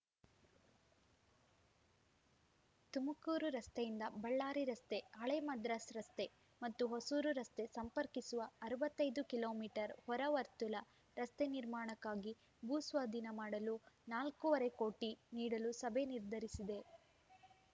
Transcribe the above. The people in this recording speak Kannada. ತುಮಕೂರು ರಸ್ತೆಯಿಂದ ಬಳ್ಳಾರಿ ರಸ್ತೆ ಹಳೆ ಮದ್ರಾಸ್‌ ರಸ್ತೆ ಮತ್ತು ಹೊಸೂರು ರಸ್ತೆ ಸಂಪರ್ಕಿಸುವ ಅರವತ್ತ್ ಐದು ಕಿಲೋ ಮೀಟರ್ ಹೊರ ವರ್ತುಲ ರಸ್ತೆ ನಿರ್ಮಾಣಕ್ಕಾಗಿ ಭೂ ಸ್ವಾಧೀನ ಮಾಡಲು ನಾಲ್ಕೂವರೆ ಕೋಟಿ ನೀಡಲು ಸಭೆ ನಿರ್ಧರಿಸಿದೆ